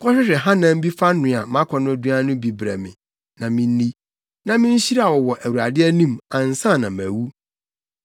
‘Kɔhwehwɛ hanam bi fa noa mʼakɔnnɔduan no bi brɛ me, na minni, na minhyira wo wɔ Awurade anim, ansa na mawu.’